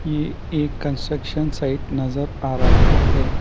ये एक construction site नजर आ रहा है।